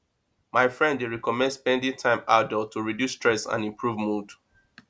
my friend dey recommend spending time outdoors to reduce stress and improve mood